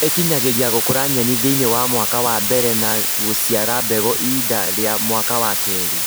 ĩkinyagĩria gũkũra nyeni thĩinĩ wa mwaka wa mbere na gũciara mbegũ ihinda rĩa mwaka wa kerĩ